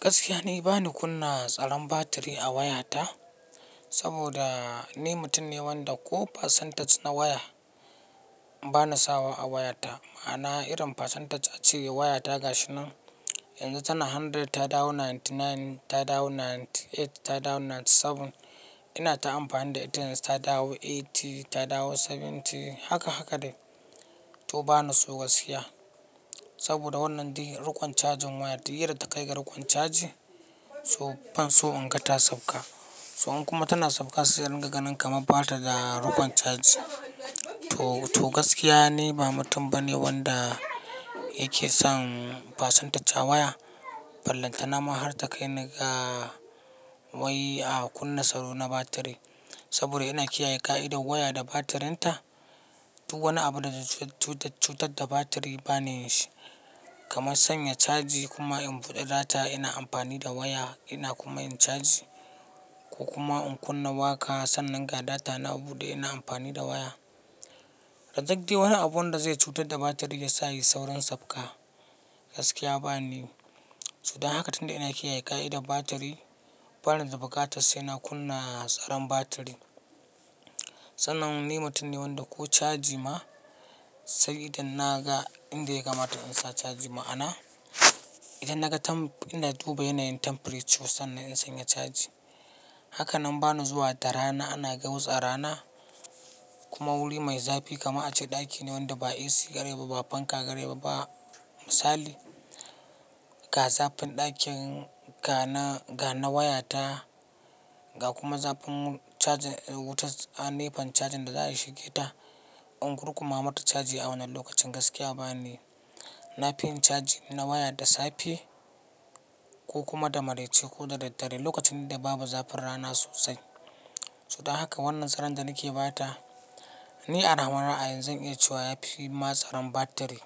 Gaskiya ne bani kunna tsaron batiri a wayata saboda ni mutum ne wanda ko percentage na waya bana sawa a wayata. Ma'ana irin percentage a cire wayata gashi nan yanzu tana hundred ta dawo ninety nine, ta dawo ninety eight, ta dawo ninety seven. Ina ta amfani da internet ta dawo eighty, ta dawo seventy haka haka dai. To bana so gaskiya saboda wannan dai rukon cajin waya, tire da ta kai ga rukon caji so ban so in ga ta sauka. So in kuma tana sauka sai in ringa ganin kamar bata da rukon caji. To, to gaskiya ne ba mutum bane wanda yake son percentage a waya. Ballanta nama har ta kai ni ga wai a kunna tsaro na batiri saboda ina kiyaye ƙa'idar waya da batirinta. Duk wani abu da zai cutar da batiri bane shi. Kaman sanya caji kuma in buɗe data ina amfani da waya ina kuma in caji ko kuma in kunna waƙa sannan ga data na buɗe ina amfani da waya. Rajag dai wani abun da zai cutar da batiri ya sa yayi saurin sauka gaskiya ba ni. So dan haka tunda ina kiyaye ƙa'idar batiri bana da bukatar sai na kunna tsaron batiri. Sannan ni mutum ne wanda ko caji ma sai idan na ga inda ya kamata in sa caji ma'ana idan na ga ina duba yanayin temperature sannan in sanya caji. Haka nan bana zuwa da rana ana gautsaa rana kuma wuri mai zafi kamar a ce ɗaki ne wanda ba AC garai ba ba fanka garai ba misali ga zafin ɗakin ga na wayata ga kuma zafin wutar a nefan cajin da za a yi shige ta in kurkuma mata caji a wannan lokacin gaskiya ba ni. Na fi in caji ina waya da safe ko kuma da maraice ko da dare lokacin da babu zafin rana sosai. So dan haka wannan tsaron da nake ba ta ni anawa ra'ayi zan iya cewa ya fi ma tsaron batiri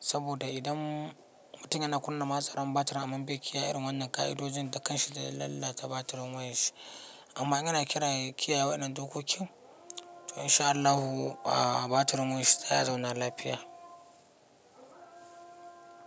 saboda idan mutum yana kunna masaran batir aman bai kiyaye wannan ƙa'idojin da kanshi zai lalata batirin wayar shi. Amma in yana kiyaye waɗannan dokokin to in sha Allahu batirin wayar shi sai a zauna lafiya.